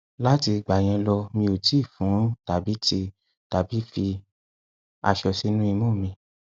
lati igba yen lo mi o ti fun tabi ti tabi fi aso sinu imu mi